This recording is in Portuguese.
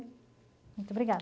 Muito obrigada.